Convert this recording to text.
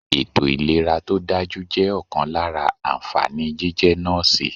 Ètò ìlera to dájú jẹ́ ọ̀kan lára ànfàní jíjẹ́ Nọ́ọ̀sì.